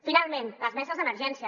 finalment les meses d’emergència